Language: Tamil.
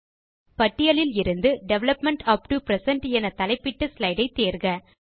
பட்டியலிலிருந்து டெவலப்மெண்ட் அப்டோ பிரசன்ட் என தலைப்பிட்ட ஸ்லைடு ஐ தேர்க